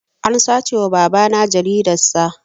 An sace wa babana jaridar sa